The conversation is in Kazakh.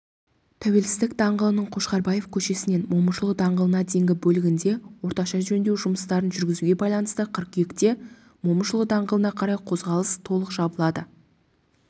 тәуелсіздік даңғылының қошқарбаев көшесінен момышұлы даңғылына дейінгі бөлігінде орташа жөндеу жұмыстарын жүргізуге байланысты қыркүйекте момышұлы даңғылына қарай қозғалыс толық жабылады